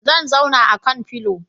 Zan zauna akan filio